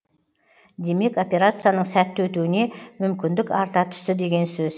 демек операцияның сәтті өтуіне мүмкіндік арта түсті деген сөз